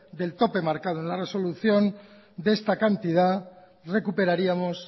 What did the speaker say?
del tope marcado en la resolución de esta cantidad recuperaríamos